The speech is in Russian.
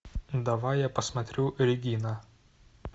давай я посмотрю регина